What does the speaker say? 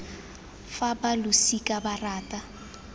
fa ba losika ba rata